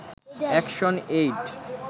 action aid